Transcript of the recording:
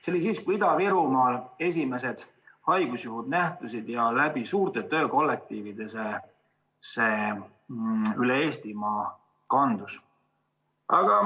See oli siis, kui Ida-Virumaal esimesed haigusjuhud ilmnesid ja see suurte töökollektiivide kaudu üle Eestimaa kandus.